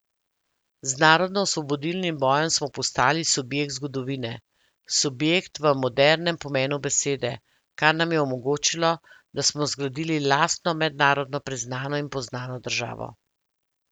Z narodnoosvobodilnim bojem smo postali subjekt zgodovine, subjekt v modernem pomenu besede, kar nam je omogočilo, da smo zgradili lastno mednarodno priznano in poznano državo.